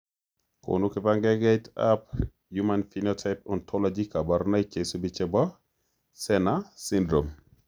Konu kibagengeitab human phenotype ontology kaborunoik cheisubi chebo sener syndrome.